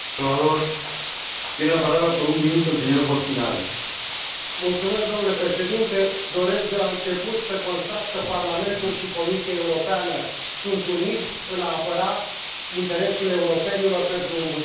Doresc, de la început, să constat că Parlamentul și Comisia Europeană sunt unite în a apăra interesul europenilor pentru un buget de dezvoltare și investiții și salut contribuția Președintelui Comisiei Europene, dl Barroso.